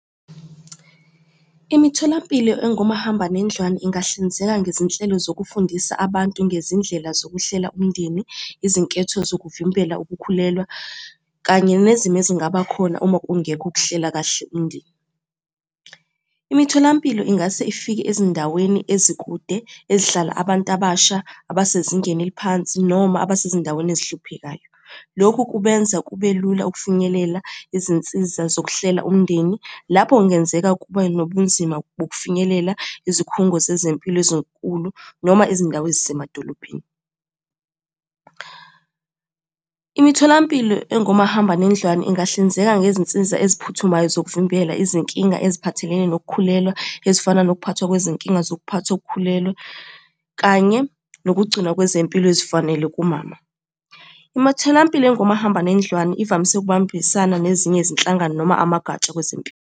Imitholampilo engomahambanendlwane ingahlinzeka ngezinhlelo zokufundisa abantu ngezindlela zokuhlela umndeni, izinketho zokuvimbela ukukhulelwa kanye nezimo ezingaba khona uma kungekho ukuhlela kahle umndeni. Imitholampilo ingase ifike ezindaweni ezikude ezihlala abantu abasha abasezingeni eliphansi noma abasezindaweni ezihluphekayo. Lokhu kubenza kube lula ukufinyelela izinsiza zokuhlela umndeni, lapho kungenzeka kube nobunzima bokufinyelela izikhungo zezempilo ezinkulu noma izindawo ezisemadolobhedeni. Imitholampilo engomahambanendlwane ingahlinzeka ngezinsiza eziphuthumayo zokuvimbela izinkinga eziphathelene nokukhulelwa, ezifana nokuphathwa kwezinkinga zokuphatha ukukhulelwa, kanye nokugcinwa kwezempilo ezifanele kumama. Imitholampilo engomahambanendlwane ivamise ukubambisana nezinye izinhlangano noma amagatsha kwezempilo.